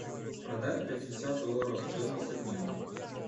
продать пятьдесят долларов стоимость обмена